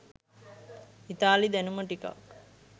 ඉතාලි දැනුම ටිකක්